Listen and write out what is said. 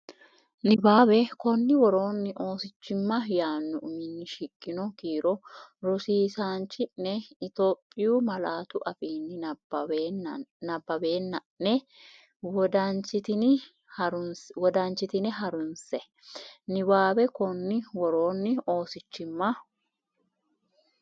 Niwaawe Konni woroonni Oosichimma yaanno uminni shiqqino kiiro rosi- isaanchi’ne Itiyophiyu malaatu afiinni nabbawanna’ne wodanchitine harunse Niwaawe Konni woroonni Oosichimma.